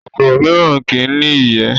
kòkòrò mìíràn kí í ní ìyẹ́